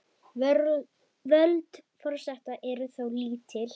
Völd forseta eru þó lítil.